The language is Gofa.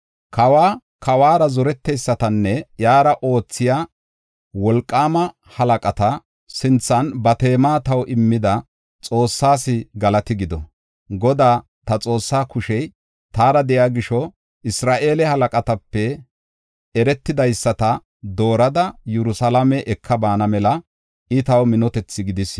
Kawa, kawuwara zoreteysatanne iyara oothiya wolqaama halaqata sinthan ba teema taw immida Xoossaas galati gido! Godaa, ta Xoossaa kushey taara de7iya gisho, Isra7eele halaqatape eretidaysata doorada Yerusalaame eka baana mela I taw minotethi gidis.